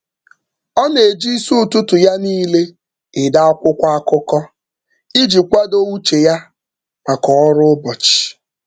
Ọ na-eji isi ụtụtụ ya niile ede akwụkwọ akụkọ iji kwado uche ya maka ọrụ ụbọchị.